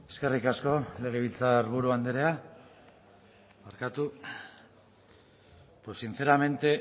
eskerrik asko legebiltzarburu andrea pues sinceramente